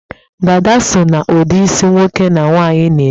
dádá so na ụdị isi nwoke na nwaanyị na-eme